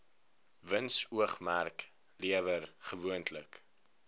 winsoogmerk lewer gewoonlik